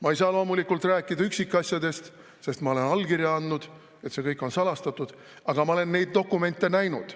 Ma ei saa loomulikult rääkida üksikasjadest, sest ma olen allkirja andnud, see kõik on salastatud, aga ma olen neid dokumente näinud.